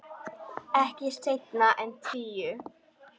Ekki seinna en tíu.